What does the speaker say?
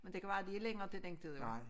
Men det kan være de længere til den tid jo